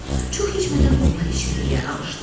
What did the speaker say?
Çox keçmədən onlar içəriyə alışdılar.